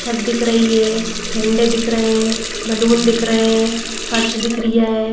छत दिख रही है झंडे दिख रहे हैं बलून दिख रहे हैं फर्श दिख रही है।